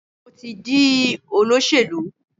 Mo ti di olóṣèlú.